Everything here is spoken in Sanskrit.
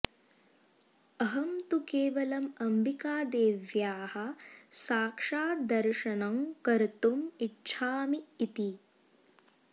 अहं तु केवलम् अम्बिकादेव्याः साक्षाद्दर्शनं कर्तुम् इच्छामि इति